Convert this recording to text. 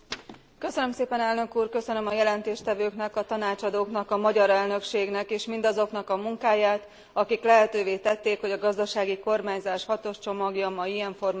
Köszönöm a jelentéstevőknek, a tanácsadóknak, a magyar elnökségnek és mindazoknak a munkáját, akik lehetővé tették, hogy a gazdasági kormányzás hatos csomagja ma ilyen formában előttünk állhat.